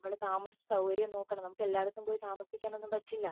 നമ്മുടെ താമസ സൗകര്യം നോക്കണം നമുക്ക് എല്ലായിടത്തും പോയി താമസിക്കാൻ ഒന്നും പറ്റില്ല